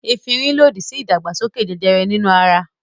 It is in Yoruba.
Efirin lòdì sí ìdàgbàsókè jẹjẹrẹ nínú ara.